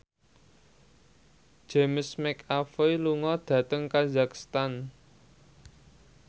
James McAvoy lunga dhateng kazakhstan